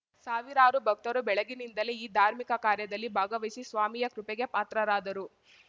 ಸಾವಿರಾರು ಭಕ್ತರು ಬೆಳಗಿನಿಂದಲೇ ಈ ಧಾರ್ಮಿಕ ಕಾರ್ಯದಲ್ಲಿ ಭಾಗವಹಿಸಿ ಸ್ವಾಮಿಯ ಕೃಪೆಗೆ ಪಾತ್ರರಾದರು